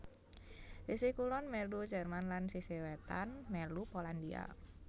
Sisih kulon mèlu Jerman lan sisih wétan mèlu Polandia